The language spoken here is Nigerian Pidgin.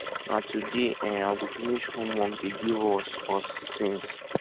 na today um i go finish homework dey give us us since